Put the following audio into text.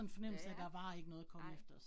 Ja ja, nej